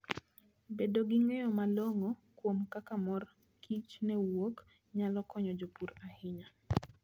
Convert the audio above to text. Bedo gi ng'eyo malong'o kuom kaka mor kich ne wuok, nyalo konyo jopur ahinya.